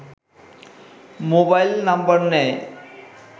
mobile number নেয়